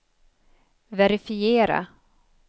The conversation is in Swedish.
verifiera